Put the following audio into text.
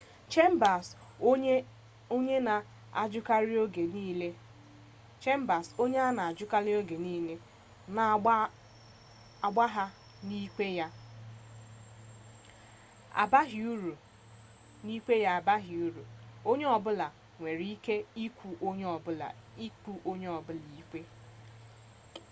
chambers onye na-ajụkarị oge niile na-agbagha na ikpe ya abaghị uru ma onye ọ bụla nwere ike ịkụ onye ọbụla ikpe